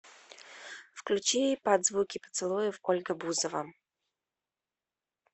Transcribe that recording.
включи под звуки поцелуев ольга бузова